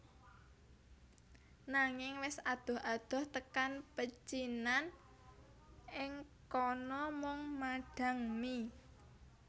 Nanging wis adoh adoh tekan pecinan ing kana mung madhang mie